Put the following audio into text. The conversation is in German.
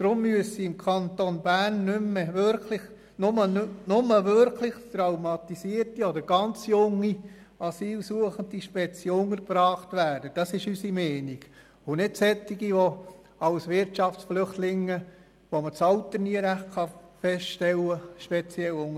Deshalb müssen im Kanton Bern wirklich nur traumatisierte oder ganz junge Asylsuchende speziell untergebracht werden und nicht solche, die als Wirtschaftsflüchtlinge kommen und deren Alter nie richtig festgestellt werden kann.